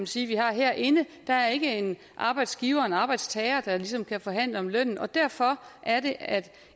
sige vi har herinde der er ikke en arbejdsgiver og en arbejdstager der ligesom kan forhandle om lønnen og derfor